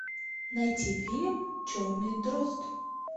найти фильм черный дрозд